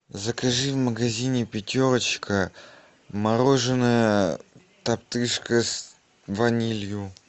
закажи в магазине пятерочка мороженое топтыжка с ванилью